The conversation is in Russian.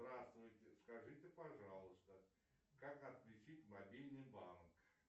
здравствуйте скажите пожалуйста как отключить мобильный банк